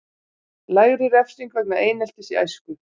Lægri refsing vegna eineltis í æsku